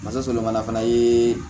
fana ye